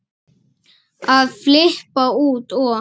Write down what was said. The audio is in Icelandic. að flippa út og